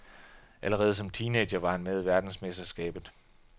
Allerede som teenager var han med i verdensmesterskabet.